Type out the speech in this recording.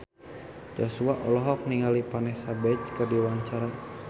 Joshua olohok ningali Vanessa Branch keur diwawancara